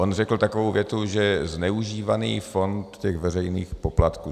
On řekl takovou větu, že zneužívaný fond těch veřejných poplatků.